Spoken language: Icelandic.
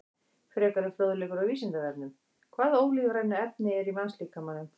Frekari fróðleikur á Vísindavefnum: Hvaða ólífrænu efni eru í mannslíkamanum?